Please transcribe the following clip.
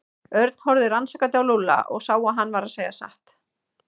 Örn horfði rannsakandi á Lúlla og sá að hann var að segja satt.